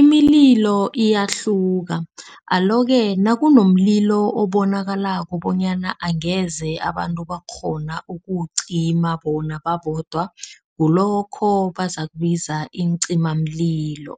Imililo iyahluka alo-ke nakunomlilo obonakalako bonyana angeze abantu bakghona ukuwucima bona babodwa. Kulokho bazakubiza iincimamlilo